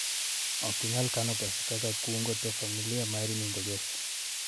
Ok inyal kano pesa kaka kungo to familia mari nindo kech